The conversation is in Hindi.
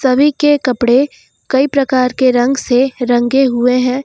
सभी के कपड़े कई प्रकार के रंग से रंगे हुए हैं।